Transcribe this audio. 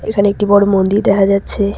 এখানে একটি বড় মন্দির দেখা যাচ্ছে।